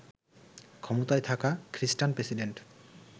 ক্ষমতায় থাকা খ্রিষ্টান প্রেসিডেন্ট